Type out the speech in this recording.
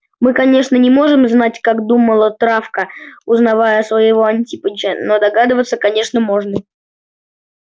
мы конечно не можем знать как думала травка узнавая своего антипыча но догадываться конечно можно